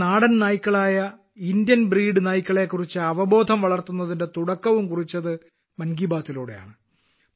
നമ്മുടെ നാടൻ നായ്ക്കളായ ഇന്ത്യൻ ബ്രീഡ് നായ്ക്കളെ കുറിച്ച് അവബോധം വളർത്തുന്നതിന്റെ തുടക്കവും കുറിച്ചത് മൻ കി ബാത്ത്ലൂടെയാണ്